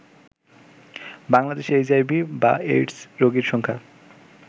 বাংলাদেশে এইচআইভি/এইডস রোগীর সংখ্যা